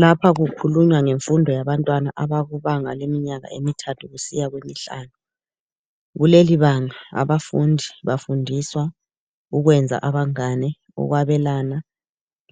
Lapha kukhulunywa ngenfundo yabantwana abakubanga leminyaka emithathu kusiya kwemihlanu. Kulelibanga abafundi ,bafundiswa ukwenza abangane ,ukwabelana